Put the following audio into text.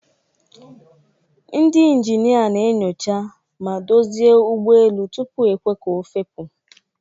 Ndị ịnjịnịa na-enyocha ma dozịe ụgbọ elu tupu ekwee ka ofepu.